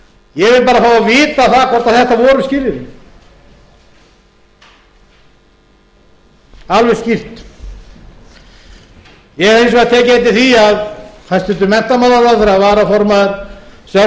fá að vita það hvort þetta voru skilyrðin alveg skýrt ég hef hins vegar tekið eftir því að hæstvirtur menntamálaráðherra